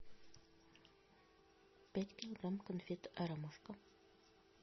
пять килограмм конфет ромашка